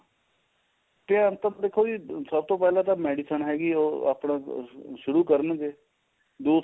ਤੇ ਅੰਤ ਚ ਦੇਖੋ ਵੀ ਸਭ ਤੋਂ ਪਹਿਲਾਂ ਤਾਂ medicine ਹੈਗੀ ਏ ਉਹ ਆਪਣਾ ਸ਼ੁਰੂ ਕਰਨਗੇ ਦੂਸਰਾ